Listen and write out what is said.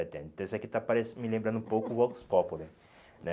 setenta. Esse aqui está parecen me lembrando um pouco o Vox Populi, né?